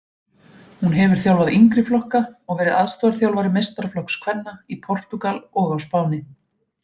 Hún hefur þjálfað yngri flokka og verið aðstoðarþjálfari meistaraflokks kvenna í Portúgal og á Spáni.